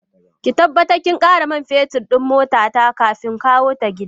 Ki tabbatar kin kara man fetur din motata kafin kawota gidan.